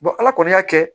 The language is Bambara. ala kɔni y'a kɛ